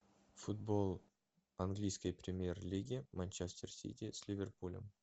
футбол английской премьер лиги манчестер сити с ливерпулем